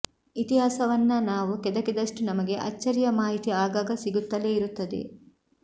ಇತಿಹಾಸವನ್ನ ನಾವು ಕೆಣಕಿದಷ್ಟು ನಮಗೆ ಅಚ್ಚರಿಯ ಮಾಹಿತಿ ಆಗಾಗ ಸಿಗುತ್ತಲೇ ಇರುತ್ತದೆ